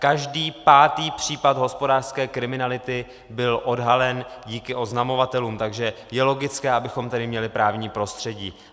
Každý pátý případ hospodářské kriminality byl odhalen díky oznamovatelům, takže je logické, abychom tady měli právní prostředí.